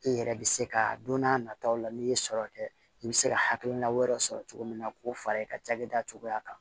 I yɛrɛ bɛ se ka don n'a nataw la n'i ye sɔrɔ kɛ i bɛ se ka hakilina wɛrɛ sɔrɔ cogo min na k'o fara i ka cakɛda cogoya kan